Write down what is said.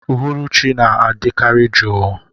Uhuruchi na-adị kari juu.